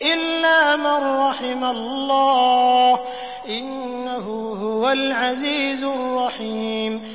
إِلَّا مَن رَّحِمَ اللَّهُ ۚ إِنَّهُ هُوَ الْعَزِيزُ الرَّحِيمُ